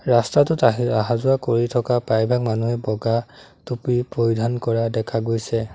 ৰস্তাটোত আহি অহা-যোৱা কৰি থকা প্ৰায়ভাগ মানুহে বগা টুপী পৰিধান কৰা দেখা গৈছে।